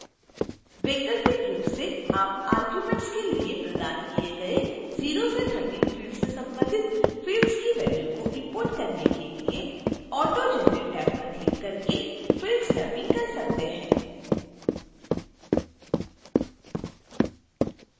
वैकल्पिक रूप से आप arguments के लिए प्रदान किए गए 0 से 13 फिल्ड से संबंधित fields की वैल्यू को इंपोर्ट करने के लिए auto generate टैब पर क्लिक करके fields मैपिंग कर सकते हैं